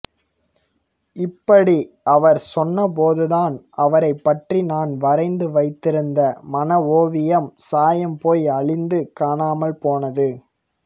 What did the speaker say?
இப்படி அவர் சொன்னபோதுதான் அவரைப் பற்றி நான் வரைந்து வைத்திருந்த மன ஓவியம் சாயம் போய் அழிந்து காணாமல் போனது